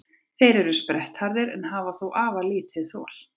Þeir eru sprettharðir en hafa þó afar lítið þol.